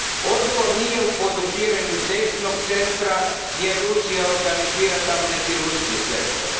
Odgovor nije u podupiranju desnog centra, jer Rusija organizira tamo neki ruski sektor.